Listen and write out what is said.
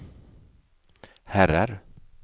herrar